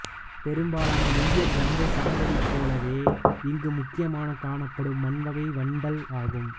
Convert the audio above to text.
பெரும்பாலான இந்திய கங்கைச் சமவெளிப் போலவே இங்கு முக்கியமாகக் காணப்படும் மண்வகை வண்டல் ஆகும்